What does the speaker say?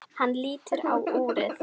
Hann lítur á úrið.